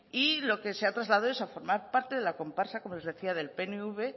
y lo que se ha trasladado es a formar parte de la comparsa como les decía del pnv